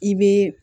I bɛ